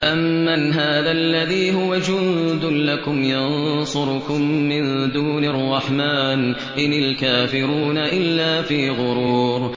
أَمَّنْ هَٰذَا الَّذِي هُوَ جُندٌ لَّكُمْ يَنصُرُكُم مِّن دُونِ الرَّحْمَٰنِ ۚ إِنِ الْكَافِرُونَ إِلَّا فِي غُرُورٍ